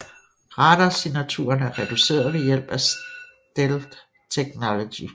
Radarsignaturen er reduceret ved hjælp af stealth teknologi